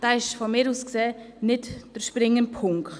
Dieser ist aus meiner Sicht nicht der springende Punkt.